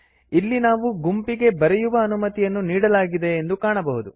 ಇಲ್ಲಿ ನಾವು ಗುಂಪಿಗೆ ಬರೆಯುವ ಅನುಮತಿಯನ್ನು ನೀಡಲಾಗಿದೆ ಎಂದು ಕಾಣಬಹುದು